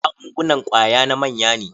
Magungunan kwaya na manya ne.